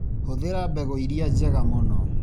Hũthĩra mbegu ĩrĩa njega mũno.